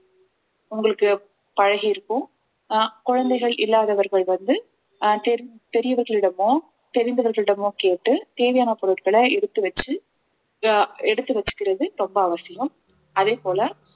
உங்களுக்கு பழகியிருக்கும் அஹ் குழந்தைகள் இல்லாதவர்கள் வந்து அஹ் தெரிந்~ பெரியவர்களிடமோ தெரிந்தவர்களிடமோ கேட்டு தேவையான பொருட்களை எடுத்து வெச்சு அஹ் எடுத்து வெச்சுக்கிறது ரொம்ப அவசியம் அதே போல